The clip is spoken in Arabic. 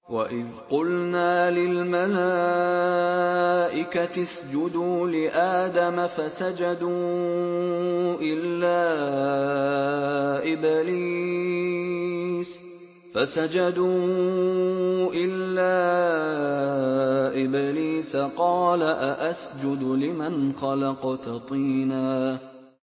وَإِذْ قُلْنَا لِلْمَلَائِكَةِ اسْجُدُوا لِآدَمَ فَسَجَدُوا إِلَّا إِبْلِيسَ قَالَ أَأَسْجُدُ لِمَنْ خَلَقْتَ طِينًا